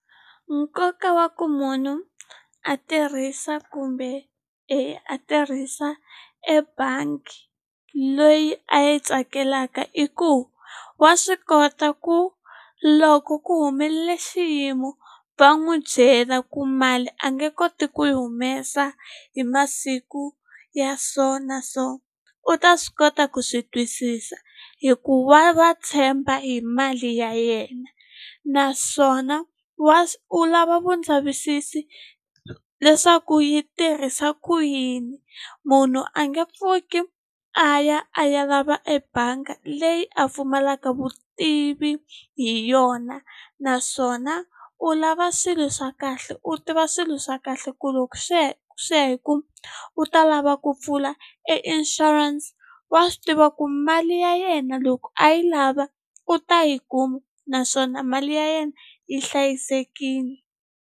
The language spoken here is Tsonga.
Nkoka wa ku munhu a tirhisa kumbe a tirhisa ebangi leyi a yi tsakelaka i ku wa swi kota ku loko ku humelele xiyimo va n'wi byela ku mali a nge koti ku yi humesa hi masiku ya so na so u ta swi kota ku swi twisisa hikuva va tshemba hi mali ya yena naswona u lava vulavisisi leswaku yi tirhisa ku yini munhu a nge pfuki a ya a ya lava ebangi leyi a pfumalaka vutivi hi yona naswona u lava swilo swa kahle u tiva swilo swa kahle ku loko swi ya hi ku u ta lava ku pfula e insurance wa swi tiva ku mali ya yena loko a yi lava u ta yi kuma naswona mali ya yena yi hlayisekile.